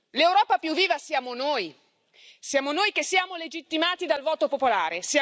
L'Europa più viva siamo noi siamo noi che siamo legittimati dal voto popolare